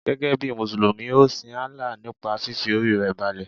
Gẹ́gẹ́ bí Mùsùlùmí, ọ sin Allah nípa fífi Orí rẹ balẹ̀.